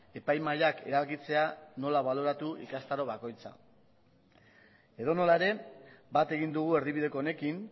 epaimahaiak erabakitzea nola baloratu ikastaro bakoitza edonola ere bat egin dugu erdibideko honekin